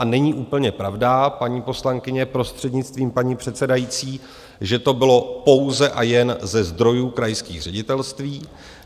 A není úplně pravda, paní poslankyně, prostřednictvím paní předsedající, že to bylo pouze a jen ze zdrojů krajských ředitelství.